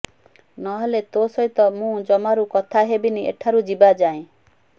ନ ହେଲେ ତୋ ସହିତ ମୁଁ ଜମାରୁ କଥାହେବିନି ଏଠାରୁ ଯିବା ଯାଏଁ